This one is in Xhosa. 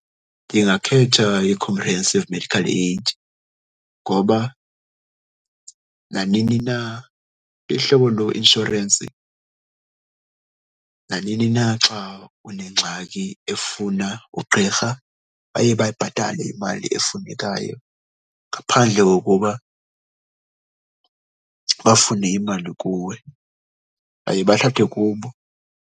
Ndingakhetha i-comprehensive medical aid ngoba nanini na ihlobo loinshorensi, nanini na xa unengxaki efuna ugqirha baye bayibhatale imali efunekayo ngaphandle kokuba bafune imali kuwe. Baye bathathe kubo.